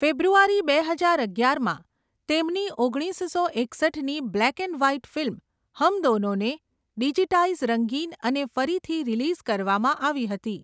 ફેબ્રુઆરી બે હજાર અગિયારમાં, તેમની ઓગણીસસો એકસઠની બ્લેક એન્ડ વ્હાઈટ ફિલ્મ હમ દોનોને ડિજિટાઈઝ, રંગીન અને ફરીથી રિલીઝ કરવામાં આવી હતી.